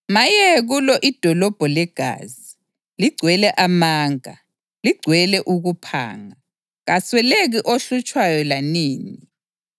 Maye kulo idolobho legazi, ligcwele amanga, ligcwele ukuphanga, kasweleki ohlutshwayo lanini!